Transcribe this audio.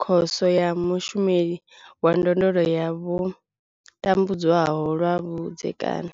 Khoso ya Mushumeli wa Ndondolo ya vho tambudzwaho lwa vhudzekani.